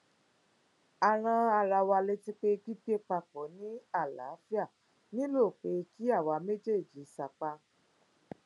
a rán ara wa létí pé gbígbé papọ ní àlááfíà nílò pé kí àwa méjèèjì sapá